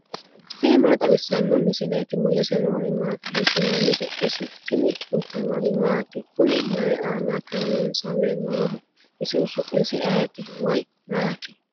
tini maa xawissanno misileeti ? mulese noori maati ? hiissinannite ise ? tini kultannori maati? Kunni mayi aanna kayiisamme nooho? isihu su'misi ayiitti woy maati?